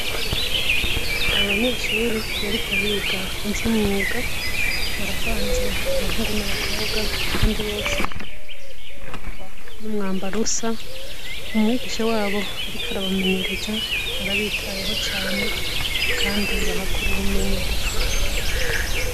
Abanyeshure bariko biga ivy'imyuga, baravanze abahungu n'abakobwa, kandi bose barangwa n'umwambaro usa, umwigisha wabo ariko arabamenyereza arabitayeho cane kandi bahakura ubumenyi budasanzwe.